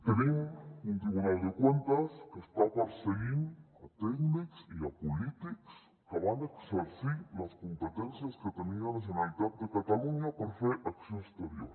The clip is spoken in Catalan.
tenim un tribunal de cuentas que està perseguint tècnics i polítics que van exercir les competències que tenia la generalitat de catalunya per fer acció exterior